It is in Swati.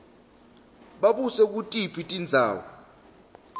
babuse kutiphi tindzawo